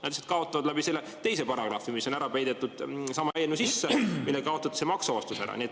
Nad lihtsalt kaotavad selle teise paragrahvi tõttu, mis on peidetud sama eelnõu sisse, millega kaotati ära maksuvabastus.